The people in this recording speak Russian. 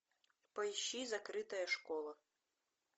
поищи закрытая школа